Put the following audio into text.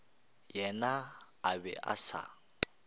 yena a be a sa